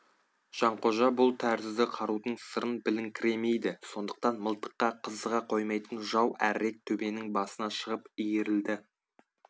жанқожа бұл тәрізді қарудың сырын біліңкіремейді сондықтан мылтыққа қызыға қоймайтын жау әрірек төбенің басына шығып иірілді